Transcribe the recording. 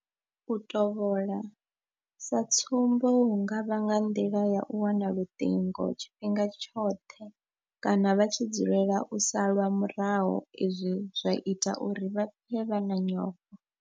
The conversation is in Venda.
U tovhola sa tsumbo hu nga vha nga nḓila ya u wana luṱingo tshifhinga tshoṱhe kana vha tshi dzulela u salwa murahu izwi zwa ita uri vha pfe vha na nyofho.